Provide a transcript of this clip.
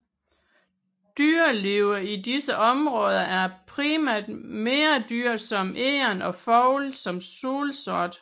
Dyrelivet i disse områder er primært mindre dyr som egern og fugle som solsort